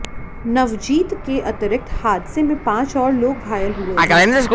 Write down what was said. नवजीत के अतिरिक्त हादसे में पांच और लोग घायल हुए हैं